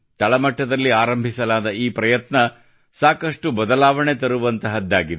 ತಳ ಮಟ್ಟದಲ್ಲಿ ಆರಂಭಿಸಲಾದ ಈ ಪ್ರಯತ್ನವು ಸಾಕಷ್ಟು ಬದಲಾವಣೆ ತರುವಂತಹದ್ದಾಗಿದೆ